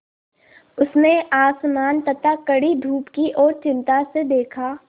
उसने आसमान तथा कड़ी धूप की ओर चिंता से देखा